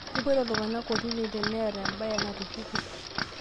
Kepoito iltunganak kotini teneeta embae natupukuo